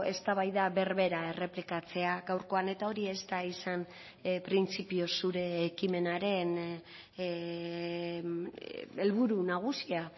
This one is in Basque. eztabaida berbera errepikatzea gaurkoan eta hori ez da izan printzipioz zure ekimenaren helburu nagusia